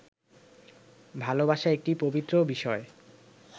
ভালোবাসা একটি পবিত্র বিষয়